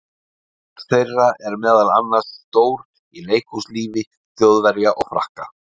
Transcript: Hlutur þeirra er meðal annars stór í leikhúslífi Þjóðverja og Frakka.